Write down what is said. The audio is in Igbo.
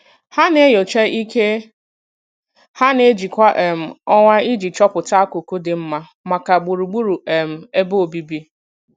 Ha na-enyocha ike ha na-eji kwa um ọnwa iji chọpụta akụkụ dị mma maka gbugburu um ebe obibi.